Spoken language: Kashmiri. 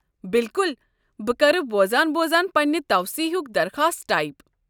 بِلکُل، بہٕ کرٕ بوزان بوزان پنٕنۍ توسیٖعٕ ہُک درخاست ٹایپ۔